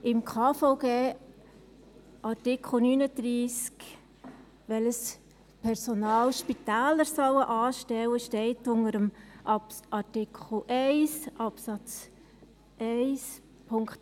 Im Bundesgesetz über die Krankenversicherung (KVG) steht in Artikel 39 unter Absatz 1 Buchstabe b, welches Personal die Spitäler anstellen sollen: